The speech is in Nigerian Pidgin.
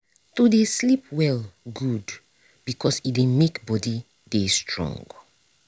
to dey sleep well good because e dey make body dey strong.